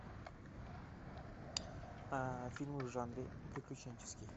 фильмы в жанре приключенческий